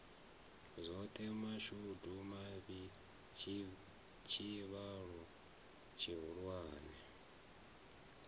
zwoṱhe mashudu mavhi tshivhalo tshihulwane